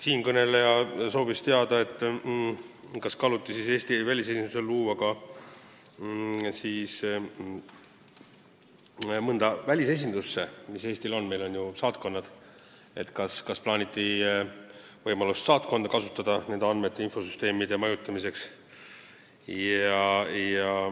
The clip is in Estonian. Siinkõneleja soovis teada, kas kaaluti võimalust luua see süsteem mõnes välisesinduses, mis Eestil on – meil on ju saatkonnad –, st kas plaaniti võimalust kasutada saatkonda andmete majutamiseks.